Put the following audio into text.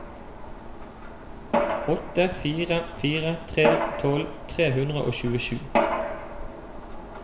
åtte fire fire tre tolv tre hundre og tjuesju